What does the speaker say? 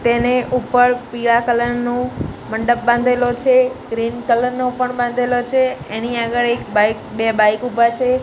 તેને ઉપર પીડા કલર નુ મંડપ બાંધેલો છે ગ્રીન કલર નો પણ બાંધેલો છે એની આગળ એક બાઇક બે બાઇક ઉભા છે.